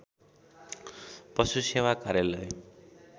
पशु सेवा कार्यालय